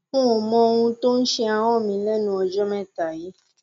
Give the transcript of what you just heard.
nò mọ ohun tó ń ṣe ahọn mi lẹnu ọjọ mẹta yìí